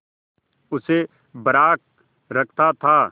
उसे बर्राक रखता था